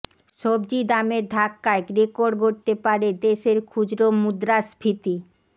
সবজির দামের ধাক্কায় রেকর্ড গড়তে পারে দেশের খুচরো মুদ্রাস্ফীতি